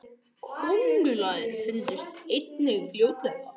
köngulær fundust einnig fljótlega